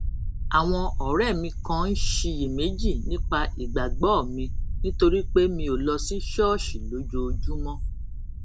àwọn òré mi kan ń ṣiyèméjì nípa ìgbàgbó mi nítorí pé mi ò lọ sí ṣóòṣì lójoojúmó